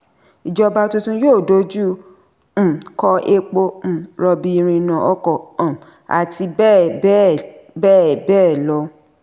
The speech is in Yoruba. ìjọba tuntun yóò dojú um kọ epo um rọ̀bì irinà ọkọ̀ um àti bẹ́ẹ̀ bẹ́ẹ̀ bẹ́ẹ̀ bẹ́ẹ̀ lọ.